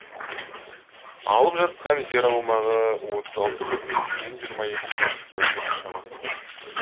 алып жатқан жер аумағы отыз алты бүтін жүзден жиырма екі шаршы километр шамасында